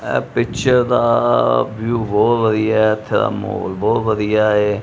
ਇਹ ਪਿਚਰ ਦਾ ਵਿਊ ਬਹੁਤ ਵਧੀਆ ਮਾਹੌਲ ਬਹੁਤ ਵਧੀਆ ਏ।